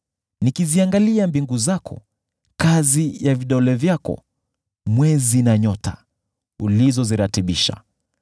Nikiziangalia mbingu zako, kazi ya vidole vyako, mwezi na nyota, ulizoziratibisha,